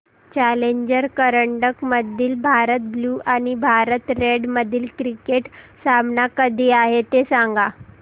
challenger करंडक मधील Bharat blue आणि भारत रेड मधील क्रिकेट सामना कधी आहे ते सांगा